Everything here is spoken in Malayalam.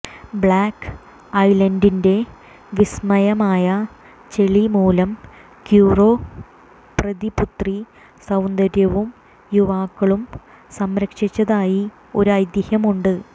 ബ്ലാക് ഐലൻഡിന്റെ വിസ്മയമായ ചെളി മൂലം ക്യൂറോ പ്രതിപുത്രി സൌന്ദര്യവും യുവാക്കളും സംരക്ഷിച്ചതായി ഒരു ഐതിഹ്യമുണ്ട്